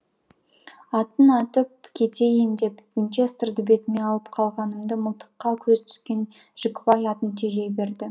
атын атып кетейін деп венчестрді бетіме алып қалғанымды мылтыққа көзі түскен жікібай атын тежей берді